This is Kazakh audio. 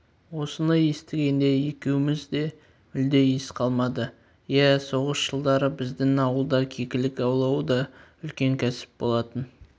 осыны естігенде екеуміз де мүлде ес қалмады иә соғыс жылдары біздің ауылда кекілік аулау да үлкен кәсіп болатын